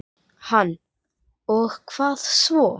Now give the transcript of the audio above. Hann: Og hvað svo?